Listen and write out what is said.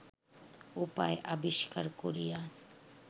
উপায় আবিষ্কার করিয়া